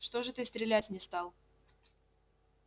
что же ты стрелять не стал